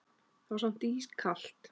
Það var samt kalt